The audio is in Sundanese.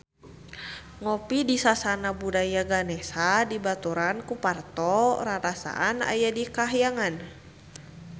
Ngopi di Sasana Budaya Ganesha dibaturan ku Parto rarasaan aya di kahyangan